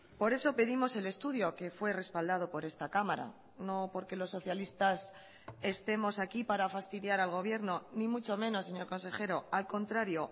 por eso pedimos el estudio que fue respaldado por esta cámara no porque los socialistas estemos aquí para fastidiar al gobierno ni mucho menos señor consejero al contrario